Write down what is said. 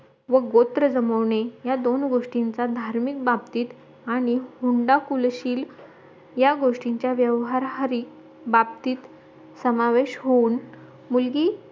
व गोत्र जमवणे या दोन गोष्टीचा धार्मिक बाबतीत आणि हुंडा कुलशील या गोष्टींच्या व्यवहारात बाबतीत समावेश होऊन मुलगी